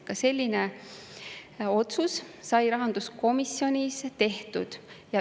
Ka selline otsus sai rahanduskomisjonis tehtud.